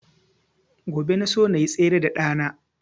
Gobe na so nayi tsere da ɗa na